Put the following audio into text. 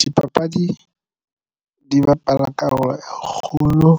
Dipapadi di bapala karolo e kgolo